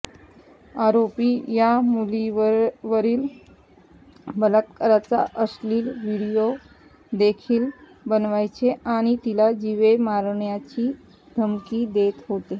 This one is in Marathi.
आरोपी या मुलीवरील बलात्काराचा अश्लील व्हिडीओ देखील बनवायचे आणि तिला जीवे मारण्याची धमकी देत होते